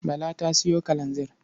Bala ta sayo kalanzir.